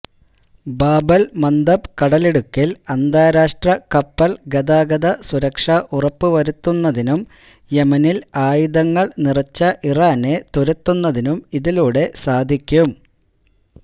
Bab el Mandeb കടലിടുക്കിൽ അന്താരാഷ്ട്ര കപ്പൽ ഗതാഗത സുരക്ഷ ഉറപ്പുവരുത്തുന്നതിനും യെമനിൽ ആയുധങ്ങൾ നിറച്ച ഇറാനെ തുരത്തുന്നതിനും ഇതിലൂടെ സാധിക്കും